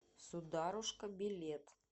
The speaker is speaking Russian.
сударушка билет